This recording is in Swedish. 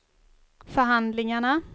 förhandlingarna